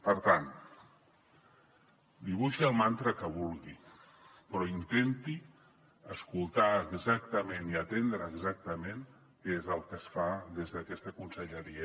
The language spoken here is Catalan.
per tant dibuixi el mantra que vulgui però intenti escoltar exactament i atendre exactament què és el que es fa des d’aquesta conselleria